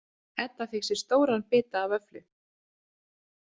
Edda fékk sér stóran bita af vöfflu.